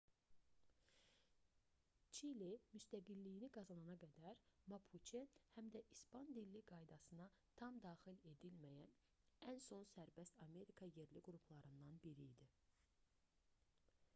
çili müstəqilliyini qazanana qədər mapuçe həm də i̇span-dilli qaydasına tam daxil edilməyən ən son sərbəst amerika yerli qruplarından biri idi